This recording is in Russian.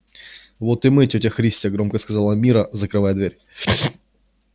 вот и мы тётя христя громко сказала мирра закрывая дверь